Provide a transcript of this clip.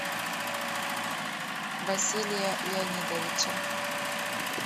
василия леонидовича